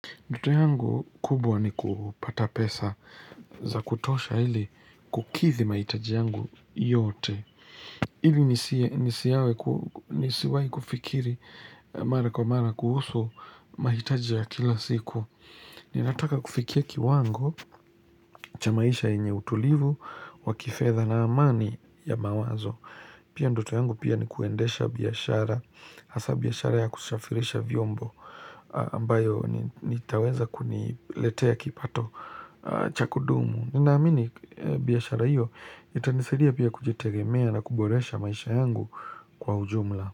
Ndoto yangu kubwa ni kupata pesa za kutosha ili kukidhi mahitaji yangu yote. Ili nisiwahi kufikiri mara kwa mara kuhusu mahitaji ya kila siku. Ninataka kufikia kiwango cha maisha yenye utulivu wa kifedha na amani ya mawazo. Pia ndoto yangu pia ni kuendesha biashara, hasa biashara ya kushafirisha vyombo ambayo nitaweza kuniletea kipato cha kudumu. Ninaamini biashara hiyo itanisaidia pia kujitegemea na kuboresha maisha yangu kwa ujumla.